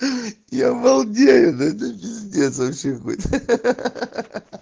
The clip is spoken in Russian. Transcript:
я балдею да это пиздец вообще какой-то